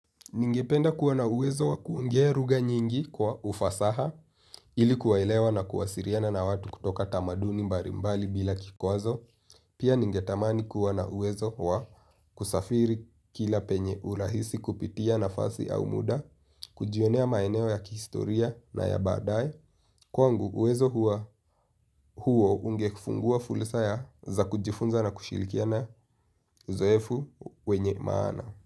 Ningependa kuwa na uwezo wa kuongea luga nyingi kwa ufasaha ili kuwaelewa na kuwasiliana na watu kutoka tamaduni mbalimbali bila kikwazo, pia ningetamani kuwa na uwezo wa kusafiri kila penye urahisi kupitia nafasi au muda, kujionea maeneo ya kihistoria na ya badae, kwangu uwezo huo ungefungua fursa za kujifunza na kushirikiana uzoefu wenye maana.